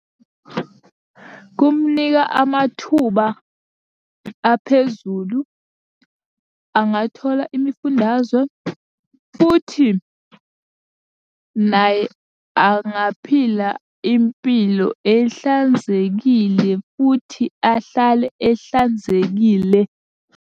Kumunika amathuba aphezulu, angathola imifundazwe, futhi naye angaphila impilo ehlanzekile futhi ahlale ehlanzekile.